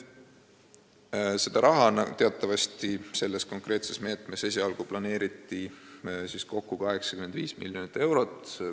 Seda raha teatavasti kõnealuse meetme raames planeeriti esialgu kulutada 85 miljonit eurot.